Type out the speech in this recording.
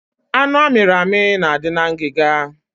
Anụ a miri amị na adị na ngiga